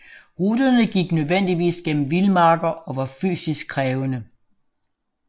Ruterne gik nødvendigvis gennem vildmarker og var fysisk krævende